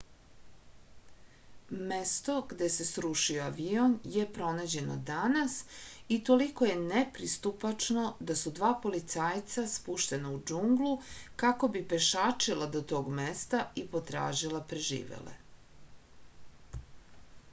mesto gde se srušio avion je pronađeno danas i toliko je nepristupačno da su dva policajca spuštena u džunglu kako bi pešačila do tog mesta i potražila preživele